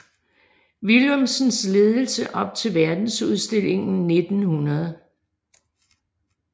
Willumsens ledelse op til Verdensudstillingen 1900